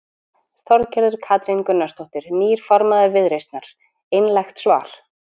Þorgerður Katrín Gunnarsdóttir, nýr formaður Viðreisnar: Einlægt svar?